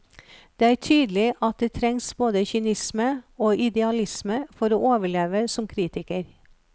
Det er tydelig at det trengs både kynisme og idealisme for å overleve som kritiker.